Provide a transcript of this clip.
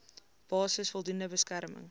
basis voldoende beskerming